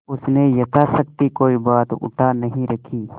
उसने यथाशक्ति कोई बात उठा नहीं रखी